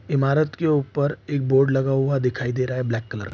इमारत के ऊपर एक बोर्ड लगा हुआ दिखाई दे रहा है ब्लैक कलर --